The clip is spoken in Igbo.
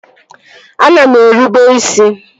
Ana m erube isi